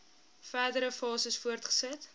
verdere fases voortgesit